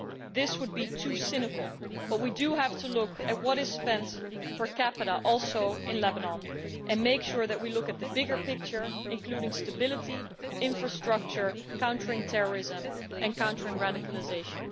This would be too cynical, but we do have to look at what is spent per capita, also in Lebanon, and make sure that we look at the bigger picture, including stability, infrastructure, countering terrorism and countering radicalisation.